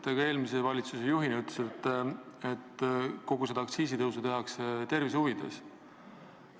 Te ka eelmise valitsuse juhina ütlesite, et aktsiisitõuse tehakse rahva tervise huvides.